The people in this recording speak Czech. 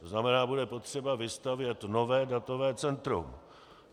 To znamená, bude potřeba vystavět nové datové centrum.